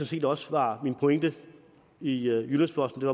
set også var min pointe i jyllands posten